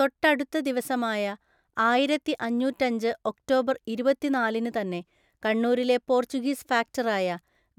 തൊട്ടടുത്ത ദിവസമായ ആയിരത്തിഅഞ്ഞൂറ്റഞ്ച് ഒക്ടോബർ ഇരുപത്തിനാലിന് തന്നെ കണ്ണൂരിലെ പോർച്ചുഗീസ് ഫാക്ടറായ